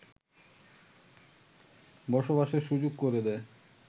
বসবাসের সুযোগ করে দেয়